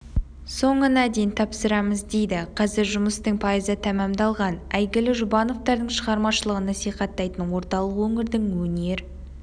соңына дейін тапсырамыз дейді қазір жұмыстың пайызы тәмәмдалған әйгілі жұбановтардың шығармашылығын насихаттайтын орталық өңірдің өнер